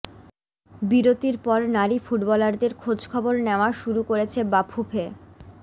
বিরতির পর নারী ফুটবলারদের খোঁজখবর নেয়া শুরু করেছে বাফুফে